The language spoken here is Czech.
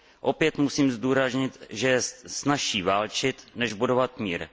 Opět musím zdůraznit, že je snazší válčit, než budovat mír.